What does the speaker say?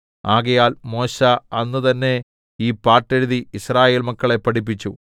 ആകയാൽ മോശെ അന്ന് തന്നെ ഈ പാട്ടെഴുതി യിസ്രായേൽ മക്കളെ പഠിപ്പിച്ചു